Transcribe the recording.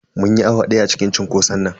Mun yi awa daya a cikin cunkoson nan.